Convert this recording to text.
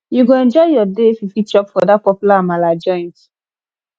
you go enjoy your day if you fit chop for dat popular amala joint